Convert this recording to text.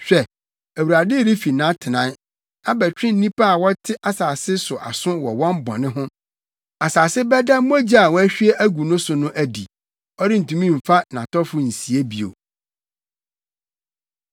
Hwɛ, Awurade refi nʼatenae abɛtwe nnipa a wɔte asase so aso wɔ wɔn bɔne ho. Asase bɛda mogya a wɔahwie agu no so no adi; ɔrentumi mfa nʼatɔfo nsie bio.